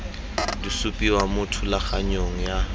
di supiwa mo thulaganyong ya